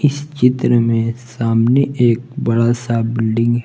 चित्र में सामने एक बड़ा सा बिल्डिंग है।